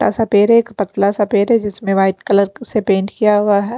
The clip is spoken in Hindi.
ऐसा पैर है एक पतला सा पेड़ है जिसमें वाइट कलर से पेंट किया हुआ है।